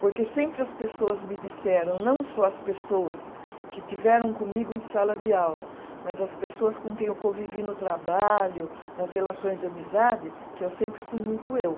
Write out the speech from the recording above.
Porque sempre as pessoas me disseram, não só as pessoas que estiveram comigo em sala de aula, mas as pessoas com quem eu convivi no trabalho, nas relações de amizade, que eu sempre fui muito eu.